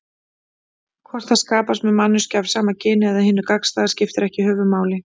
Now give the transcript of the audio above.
Hvort það skapast með manneskju af sama kyni eða hinu gagnstæða skiptir ekki höfuðmáli.